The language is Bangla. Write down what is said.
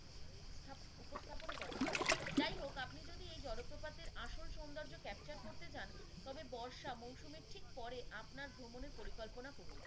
উপস্থাপন করে যাই হোক আপনি যদি এই জলপ্রপাতের আসল সৌন্দর্য capture করতে চান তবে বর্ষা মৌসুমীর ঠিক পরে আপনার ভ্রমণের পরিকল্পনা রকুন।